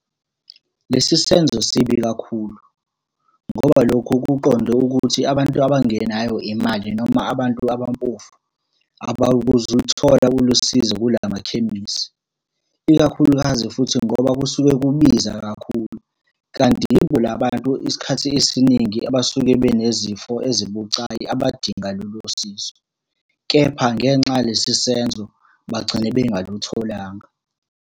Lesi senzo sibi kakhulu, ngoba lokho kuqonde ukuthi abantu abangenayo imali noma abantu abampofu, abakuzuluthola ulusizo kula makhemisi. Ikakhulukazi futhi ngoba kusuke kubiza kakhulu, kanti yibo la bantu isikhathi esiningi abasuke benezifo ezibucayi abadinga lolo sizo, kepha ngenxa yalesi senzo, bagcine bengalutholanga.